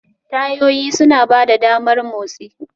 Tayoyi suna ba da damar motsi.